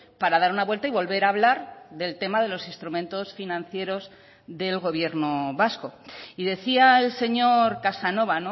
para dar una vuelta y volver a hablar del tema de los instrumentos financieros del gobierno vasco y decía el señor casanova